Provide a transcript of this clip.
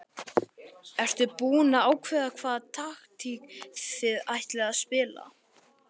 Ertu búinn að ákveða hvaða taktík þið ætlið að spila?